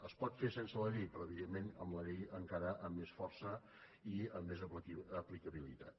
es pot fer sense la llei però evidentment amb la llei encara amb més força i amb més aplicabilitat